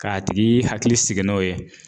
K'a tigi hakili sigi n'o ye